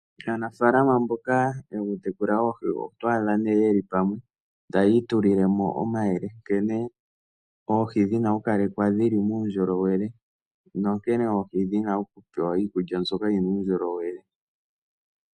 Aanafalama mboka yokutekula oohi oto adha nee yeli pamwe taya itulilemo omayele, nkene oohi dhina okukalekwa dhili muundjolowele. No nkene oohi dhina okupewa iikulya mbyoka yina uundjolowele.